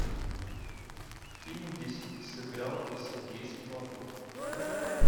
фильмы где сыграл сергей светлаков